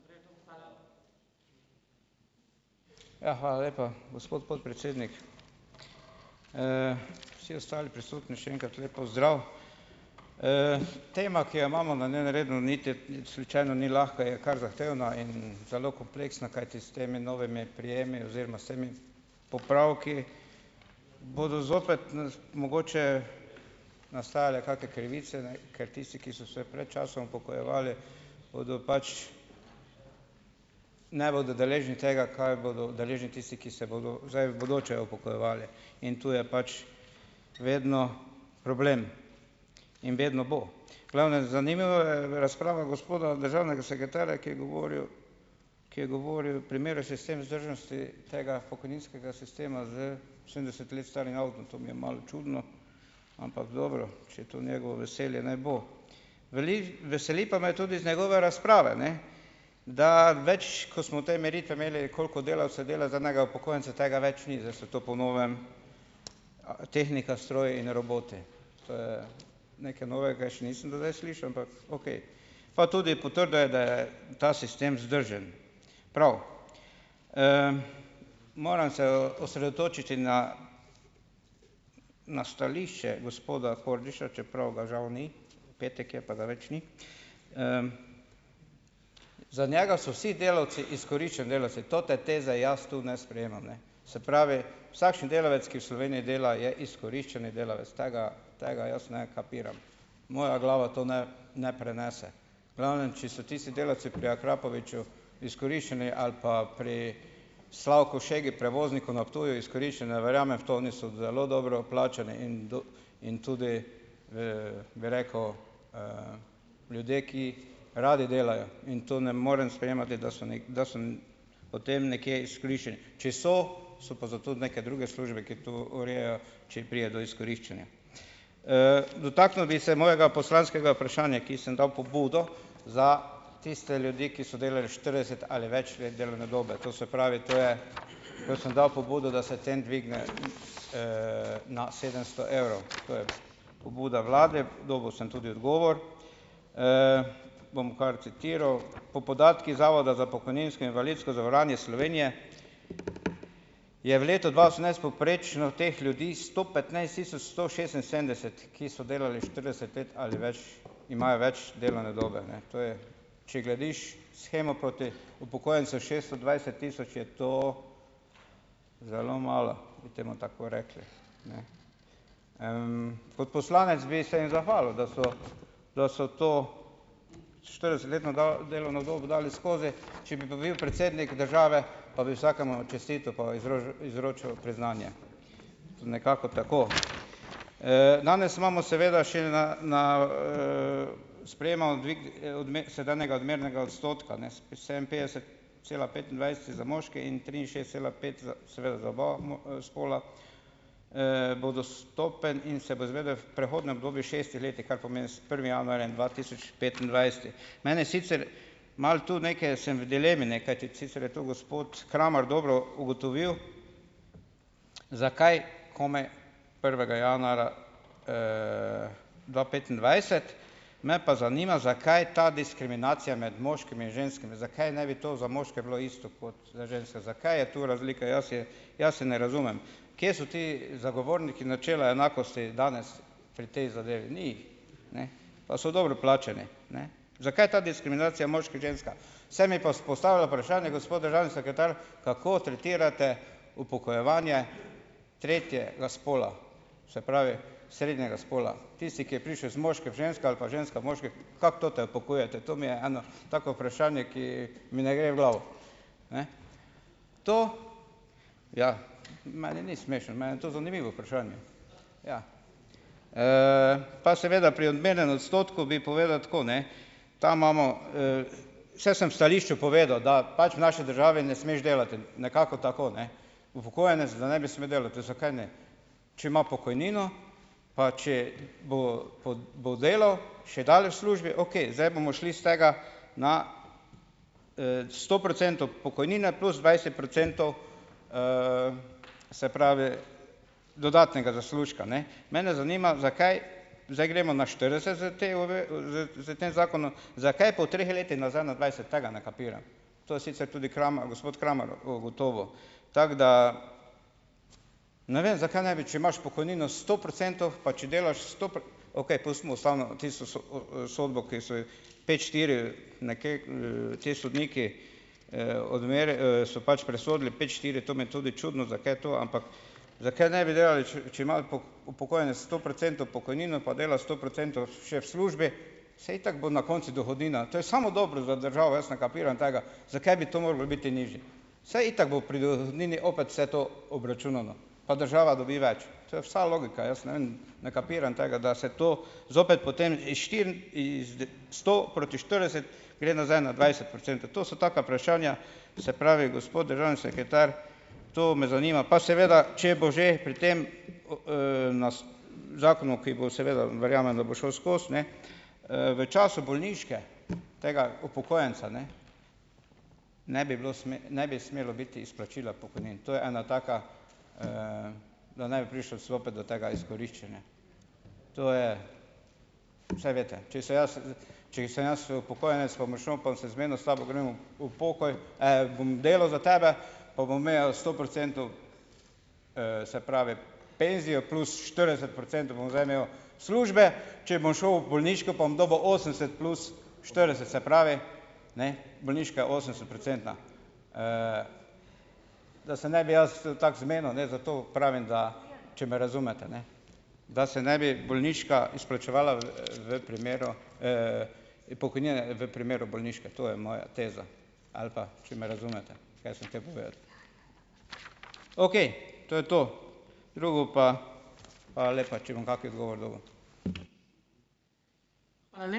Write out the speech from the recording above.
Ja, hvala lepa, gospod podpredsednik. Vsi ostali prisotni še enkrat lep pozdrav! Tema, ki jo imamo na dnevnem redu niti slučajno ni lahka, je kar zahtevna in zelo kompleksna, kajti s temi novimi prejemi oziroma s temi popravki bodo zopet mogoče nastajale kake krivice, ne, ker tisti, ki so se predčasno upokojevali, bodo pač, ne bodo deležni tega, kar bodo udeleženi tisti, ki se bodo zdaj v bodoče upokojevali, in tu je pač vedno problem in vedno bo. V glavnem. Zanimiva je razprava gospoda državnega sekretarja, ki je govoril, ki je govoril, tega pokojninskega sistema s sedemdeset let starim avtom, to mi je malo čudno, ampak dobro, če je to njegovo veselje, naj bo. Veseli pa me tudi z njegove razprave, ne, da več, ko smo te meritve imeli, koliko delavcev dela za enega upokojenca, tega več ni, zdaj so to po novem tehnika, stroji in roboti. To je nekaj novega, jaz še nisem do zdaj slišal, ampak okej. Pa tudi potrdil je, da je ta sistem vzdržen, prav. Moram se osredotočiti na na stališče gospoda Kordiša, čeprav ga žal ni, petek je, pa ga več ni, za njega so vsi delavci izkoriščeni delavci. Te teze jaz tu ne sprejemam, ne. Se pravi, vsakšen delavec, ki v Sloveniji dela, je izkoriščeni delavec. Tega, tega jaz ne kapiram, moja glava to ne ne prenese. V glavnem, če so tisti delavci pri Akrapoviču izkoriščeni ali pa pri Slavku Šegi, prevozniku na Ptuju, izkoriščeni, ne verjamem v to, oni so zelo dobro plačani in in tudi, v, bi rekel, ljudi, ki radi delajo, in to ne morem sprejemati, da so, da so potem nekje izkoriščeni. Če so, so pa zato neke druge službe, ki to urejajo, če pride do izkoriščanja. Dotaknil bi se mojega poslanskega vprašanja, ki sem dal pobudo za tiste ljudi, ki so delali štirideset ali več let delovne dobe. To se pravi, to je, to sem dal pobudo, da se tem dvigne na, na sedemsto evrov, to je pobuda vladi. Dobil sem tudi odgovor, bom kar citiral: "Po podatkih Zavoda za pokojninsko in invalidsko zavarovanje Slovenije je v letu dva osemnajst povprečno teh ljudi sto petnajst tisoč sto šestinsedemdeset, ki so delali štirideset let ali imajo več, imajo več delovne dobe." Ne. To je, če gledaš shemo proti upokojencev šesto dvajset tisoč, je to zelo malo, bi temu tako rekli. Kot poslanec bi se jim zahvalil, da so, da so to štiridesetletno delovno dobo dali skozi. Če bi pa bil predsednik države, pa bi vsakemu čestital pa izrožu izročil priznanje, nekako tako. Danes imamo seveda še na na, sprejemamo dvig, sedanjega odmernega odstotka, ne, sedeminpetdeset cela petindvajset je za moške in triinšestdeset cela pet za seveda za oba spola, bo dostopen in se bo izvedel v prehodnem obdobju šestih letih, kar pomeni, s prvim januarjem dva tisoč petindvajset. Mene sicer malo tu, nekaj sem v dilemi, ne, kajti sicer je to gospod Kramar dobro ugotovil, zakaj komaj prvega januarja dva petindvajset. Me pa zanima, zakaj ta diskriminacija med moškimi in ženskami, zakaj ne bi to za moške bilo isto kot za ženske? Zakaj je to razlika? Jaz je, jaz je ne razumem. Kje so ti zagovorniki načela enakosti danes pri tej zadevi? Ni jih. Ne. Pa so dobro plačani. Ne. Zakaj ta diskriminacija moški, ženska? Se mi pa vzpostavlja vprašanje, gospod državni sekretar, kako tretirate upokojevanje tretjega spola? Se pravi srednjega spola. Tisti, ki je prišel iz moške v žensko ali pa ženska v kako te upokojujete? To mi je eno tako vprašanje, ki mi ne gre v glavo. Ne. To, ja. Meni ni smešno, meni je to zanimivo vprašanje. Ja. Pa seveda pri odmernem odstotku bi povedal tako, ne. Tam imamo ... Saj sem v stališču povedal, da pač v naši državi ne smeš delati, nekako tako, ne. Upokojenec, da ne bi smel delati - zakaj ne? Če ima pokojnino, pa če bo bo delal, še daleč v službi. Okej, zdaj bomo šli s tega na, sto procentov pokojnine plus dvajset procentov, se pravi dodatnega zaslužka, ne. Mene zanima, zakaj zdaj gremo na štirideset s s tem zakonom, zakaj po treh letih nazaj na dvajset, tega ne kapiram. To je sicer tudi Krama gospod Kramar ugotovil, tako da ... Ne vem, zakaj ne bi, če imaš pokojnino sto procentov, pa če delaš sto okej, pustimo ustavno, tisto sodbo, ki so jih pet štiri nekje, ti sodniki, so pač presodili, pet štiri. To mi je tudi čudno, zakaj to, ampak zakaj ne bi delali, če, če ima upokojenec stoprocentno pokojnino, pa dela sto procentov še v službi, saj itak bo na koncu dohodnina. To je samo dobro za državo. Jaz ne kapiram tega, zakaj bi to moralo biti nižje. Saj itak bo pri dohodnini opet vse to obračunano. Pa država dobi več, to je vsa logika. Jaz ne vem, ne kapiram tega, da se to zopet potem iz štiri sto proti štirideset, gre nazaj na dvajset procentov. To so taka vprašanja, se pravi, gospod državni sekretar, to me zanima. Pa seveda, če bo že pri tem zakonu, ki bo seveda verjamem, da bo šel skozi, ne, v času bolniške tega upokojenca, ne, ne bi bilo ne bi smelo biti izplačila pokojnin. To je ena taka, da ne bi prišlo clopet do tega izkoriščanja. To je ... saj veste. Če sem jaz, če sem jaz upokojenec, pa bom šel, pa bom se zmenil s tabo - grem v v pokoj, bom delal za tebe, pa bom imel sto procentov, se pravi penzije, plus štirideset procentov bom zdaj imel službe, če bom šel v bolniško, pa bom dobil osemdeset plus štirideset, se pravi, ne, bolniška je osemdesetprocentna. Da se ne bi jaz tako zmenil, ne, zato pravim, da če me razumete, ne, da se ne bi bolniška izplačevala v primeru, pokojnina v primeru bolniške. To je moja teza. Ali pa, če me razumete, kaj sem hotel povedati. Okej, to je to. Drugo pa, hvala lepa, če bom kaki odgovor dobil ...